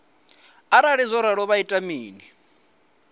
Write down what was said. arali zwo ralo vha ita mini